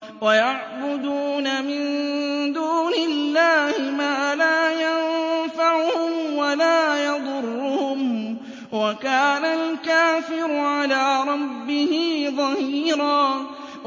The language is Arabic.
وَيَعْبُدُونَ مِن دُونِ اللَّهِ مَا لَا يَنفَعُهُمْ وَلَا يَضُرُّهُمْ ۗ وَكَانَ الْكَافِرُ عَلَىٰ رَبِّهِ ظَهِيرًا